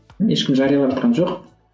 ешкім жариялаватқан жоқ